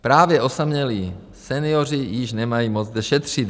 Právě osamělí senioři již nemají moc kde šetřit.